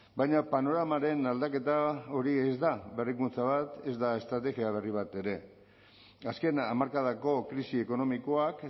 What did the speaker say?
baina panoramaren aldaketa hori ez da berrikuntza bat ez da estrategia berri bat ere azken hamarkadako krisi ekonomikoak